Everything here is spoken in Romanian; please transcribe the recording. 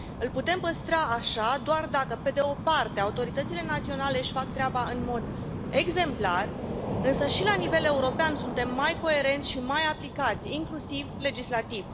Îl putem păstra așa doar dacă, pe de o parte, autoritățile naționale își fac treaba în mod exemplar, însă și la nivel european suntem mai coerenți și mai aplicați, inclusiv legislativ.